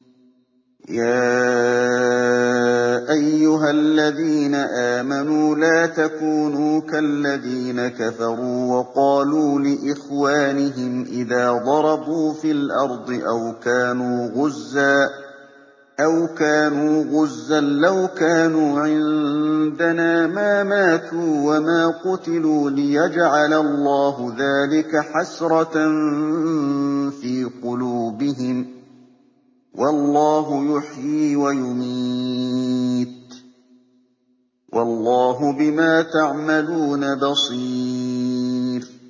يَا أَيُّهَا الَّذِينَ آمَنُوا لَا تَكُونُوا كَالَّذِينَ كَفَرُوا وَقَالُوا لِإِخْوَانِهِمْ إِذَا ضَرَبُوا فِي الْأَرْضِ أَوْ كَانُوا غُزًّى لَّوْ كَانُوا عِندَنَا مَا مَاتُوا وَمَا قُتِلُوا لِيَجْعَلَ اللَّهُ ذَٰلِكَ حَسْرَةً فِي قُلُوبِهِمْ ۗ وَاللَّهُ يُحْيِي وَيُمِيتُ ۗ وَاللَّهُ بِمَا تَعْمَلُونَ بَصِيرٌ